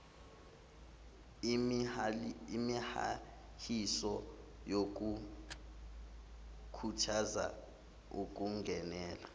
imihahiso yokukhuthaza ukungenela